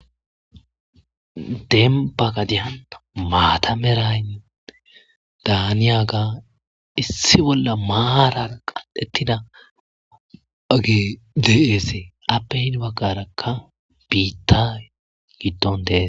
Deemba gadiyan maata Mala daniyaga issi bolla maaran uttida ogey de'esi aape heni bagaraka bitta gidon de'ees.